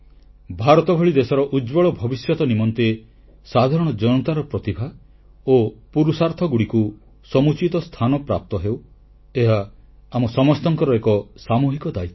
ଭାରତ ଭଳି ଦେଶର ଉଜ୍ୱଳ ଭବିଷ୍ୟତ ନିମନ୍ତେ ସାଧାରଣ ଜନତାର ପ୍ରତିଭା ଓ ପୁରୁଷାର୍ଥଗୁଡ଼ିକୁ ସମୁଚିତ ସ୍ଥାନ ପ୍ରାପ୍ତ ହେଉ ଏହା ଆମ ସମସ୍ତଙ୍କର ଏକ ସାମୁହିକ ଦାୟିତ୍ୱ